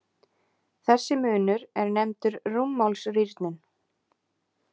Þessi munur er nefndur rúmmálsrýrnun.